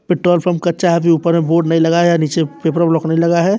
Petrol pump कच्चा है जो ऊपर में बोर्ड नहीं लगा है नीचे लगा है।